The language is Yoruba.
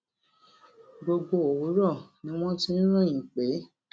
gbogbo òwúrọ ni wọn ti ń ròyìn pé